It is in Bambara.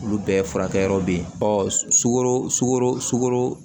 Olu bɛɛ furakɛ yɔrɔ be yen ɔ sukaro sugoro sugoro